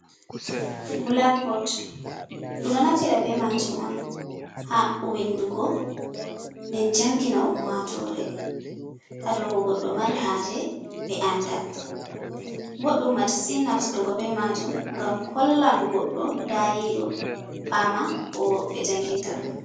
"Bulakbot" ɗu ɗo naftira be majum on ha windugo nden njangina ummatore ha dou ko goɗɗo mari haje ɓe anda boɗɗum masitin naftrugo be majum ngam hollan goɗɗo dayi ɗo fama ko ɓe njanginta ɗum.